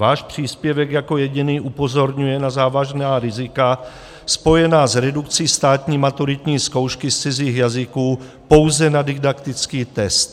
Váš příspěvek jako jediný upozorňuje na závažná rizika spojená s redukcí státní maturitní zkoušky z cizích jazyků pouze na didaktický test.